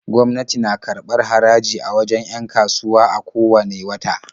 Gwamnati na karbar haraji a wajen 'yan kasuwa a ko wanne wata.